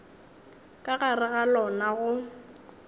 ka gare ga lona go